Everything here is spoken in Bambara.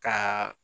Ka